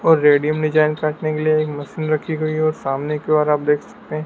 और रेडियम ने जॉइंट काटने के लिए एक मशीन रखी गई है और सामने के ओर आप देख सकते हैं।